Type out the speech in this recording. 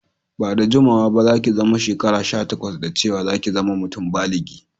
Ba'da jimawa ba za'ki zama shekara sha takwas, da cewa za'ki zama mutum báligi.